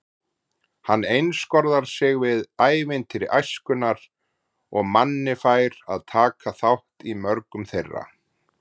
Hann einskorðar sig við ævintýri æskunnar og Manni fær að taka þátt í mörgum þeirra.